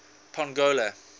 pongola